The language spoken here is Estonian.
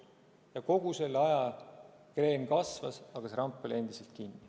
Ja kogu selle aja kreen kasvas, aga ramp oli endiselt kinni.